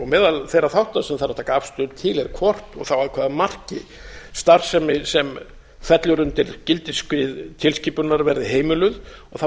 meðal þeirra þátta sem þarf að taka afstöðu til er hvort og þá að hvaða marki starfsemi sem fellur undir gildissvið tilskipunarinnar verði heimiluð og þá